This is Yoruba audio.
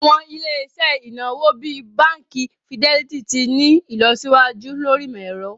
Awọn ilẹ̀-iṣẹ̀ inawo bíì Bánkì Fìdẹlìtì ti n ni ilọsiwaju lórí imọ̀-ẹ̀rọ̀.